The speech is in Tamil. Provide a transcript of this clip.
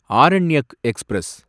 ஆரண்யக் எக்ஸ்பிரஸ்